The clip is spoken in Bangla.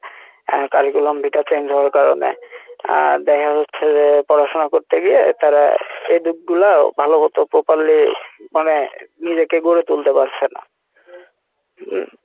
আহ curriculum vitae change হওয়ার কারনে আহ দেখা যাচ্ছে যে পড়াশোনা করতে গিয়ে তারা এই দিক গুলাও ভালো মত properly মানে নিজেকে গড়ে তুলতে পারছে না উম